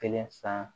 Kelen san